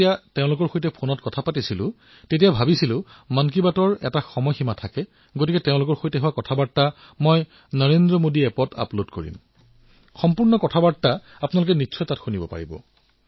মই যেতিয়া এওঁলোকৰ সৈতে ফোনত কথা পাতি আছিলো তেতিয়া ইমান দীঘলীয়া কথা আছিল যে মই ভাবিলো মন কী বাতত এটা সময়ৰ সীমা আছে মই তেওঁলোকৰ সৈতে পতা কথাসমূহ মোৰ নৰেন্দ্ৰ মোদী এপত আপলোড কৰিম তাতে আপোনালোকে নিশ্চয়কৈ শুনিব